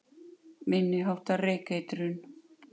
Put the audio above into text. Minni háttar reykeitrun